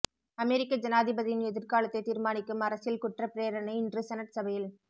அமெரிக்க ஜனாதிபதியின் எதிர்காலத்தை தீர்மானிக்கும் அரசியல் குற்ற பிரேரணை இன்று செனட் சபையில்